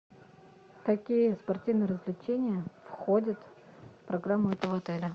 какие спортивные развлечения входят в программу этого отеля